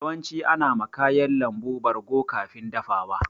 Yawanci ana ma kayan lambu bargo kafin dafawa.